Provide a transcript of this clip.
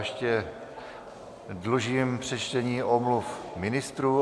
Ještě dlužím přečtení omluv ministrů.